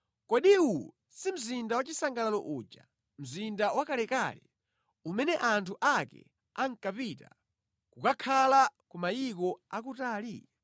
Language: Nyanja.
Kodi uwu si mzinda wachisangalalo uja, mzinda wakalekale, umene anthu ake ankapita kukakhala ku mayiko akutali?